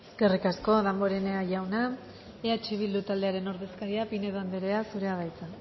eskerrik asko damborenea jauna eh bildu taldearen ordezkaria pinedo anderea zurea da hitza